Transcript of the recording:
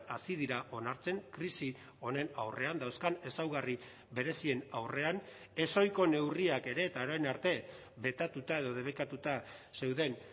hasi dira onartzen krisi honen aurrean dauzkan ezaugarri berezien aurrean ezohiko neurriak ere eta orain arte betatuta edo debekatuta zeuden